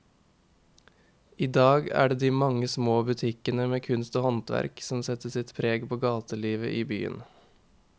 I dag er det de mange små butikkene med kunst og håndverk som setter sitt preg på gatelivet i byen.